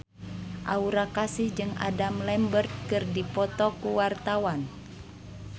Aura Kasih jeung Adam Lambert keur dipoto ku wartawan